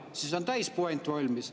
Siis on täis puänt valmis.